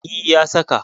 E, ya saka.